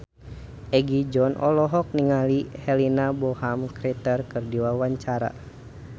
Egi John olohok ningali Helena Bonham Carter keur diwawancara